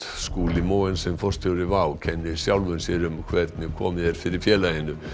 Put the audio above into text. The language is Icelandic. Skúli Mogensen forstjóri WOW kennir sjálfum sér um hvernig komið er fyrir félaginu